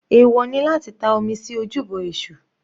Ẹ̀wọ̀ ni láti ta omi sí ojúbọ èṣù.